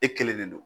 E kelen de don